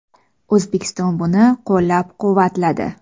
O‘zbekiston buni qo‘llab-quvvatladi.